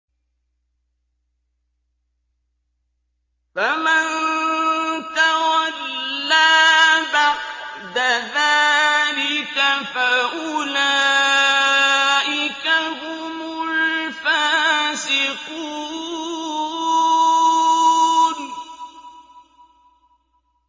فَمَن تَوَلَّىٰ بَعْدَ ذَٰلِكَ فَأُولَٰئِكَ هُمُ الْفَاسِقُونَ